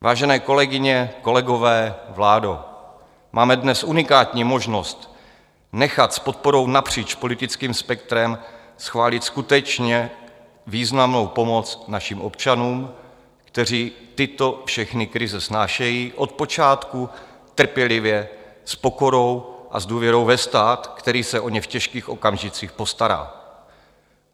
Vážené kolegyně, kolegové, vládo, máme dnes unikátní možnost nechat s podporou napříč politickým spektrem schválit skutečně významnou pomoc našim občanům, kteří tyto všechny krize snášejí od počátku trpělivě, s pokorou a s důvěrou ve stát, který se o ně v těžkých okamžicích postará.